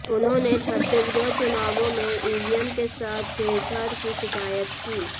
उन्होंने छत्तीसगढ़ चुनावों में ईवीएम के साथ छेड़छाड़ की शिकायत की